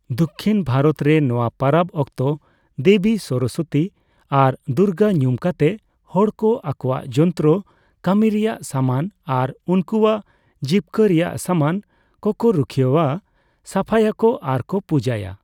ᱫᱚᱠᱠᱷᱤᱱ ᱵᱷᱟᱨᱚᱛ ᱨᱮ, ᱱᱚᱣᱟ ᱯᱟᱨᱟᱵᱽ ᱚᱠᱛᱚ ᱫᱮᱵᱤ ᱥᱚᱨᱚᱥᱚᱛᱤ ᱟᱨ ᱫᱩᱨᱜᱟᱹ ᱧᱩᱢ ᱠᱟᱛᱮ ᱦᱚᱲᱠᱚ ᱟᱠᱚᱣᱟᱜ ᱡᱚᱱᱛᱨᱚ, ᱠᱟᱢᱤ ᱨᱮᱭᱟᱜ ᱥᱟᱢᱟᱱ ᱟᱨ ᱩᱱᱠᱩᱭᱟᱜ ᱡᱤᱵᱽᱠᱟᱹ ᱨᱮᱭᱟᱜ ᱥᱟᱢᱟᱱ ᱠᱚᱠᱚ ᱨᱩᱠᱷᱤᱭᱟᱹᱣᱟ, ᱥᱟᱯᱷᱟᱭᱟᱠᱚ ᱟᱨᱠᱚ ᱯᱩᱡᱟᱹᱭᱟ ᱾